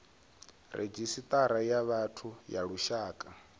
redzhisita ya vhathu ya lushaka